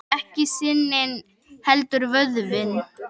Ekki sinin heldur vöðvinn.